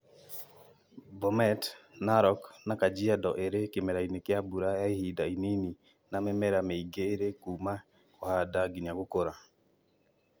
Bomet, Narok, na Kajiado irĩ kĩmera-inĩ kĩa mbura ya ihinda inini na mĩmera mĩingi ĩrĩ kuuma kũhanda nginya gũkũra